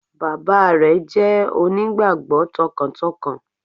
Bàbá re jẹ́ onígbàgbó tọkàntọkàn